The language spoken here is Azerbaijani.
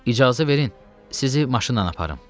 İcazə verin, sizi maşınla aparım.